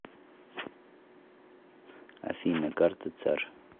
афина карта цар